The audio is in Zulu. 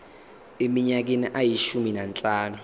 eminyakeni eyishumi nanhlanu